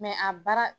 a baara